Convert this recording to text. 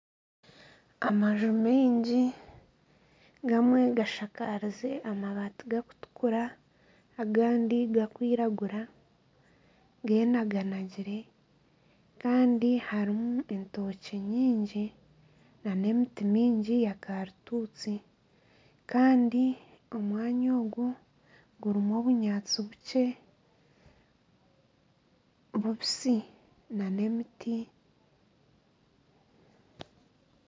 Amaju maingi gamwe gashakarize amabaati gakutukura agandi gakwiragura genaganagire kandi harimu entookye nyingi n'emiti mingi ya karituusi kandi omwanya ogu gurimu obunyaatsi bukye bubisi n'emiti